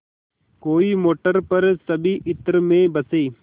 कोई मोटर पर सभी इत्र में बसे